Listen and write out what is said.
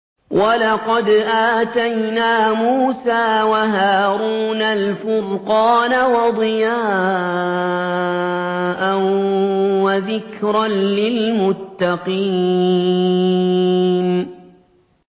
وَلَقَدْ آتَيْنَا مُوسَىٰ وَهَارُونَ الْفُرْقَانَ وَضِيَاءً وَذِكْرًا لِّلْمُتَّقِينَ